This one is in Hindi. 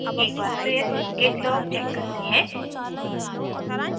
एक बार फिर git log check करते हैं